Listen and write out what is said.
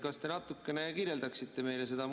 Kas te natukene kirjeldaksite meile seda?